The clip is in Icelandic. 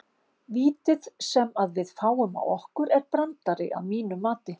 Vítið sem að við fáum á okkur er brandari að mínu mati.